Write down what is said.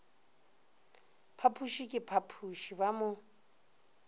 phapoše ka phapoše ba mo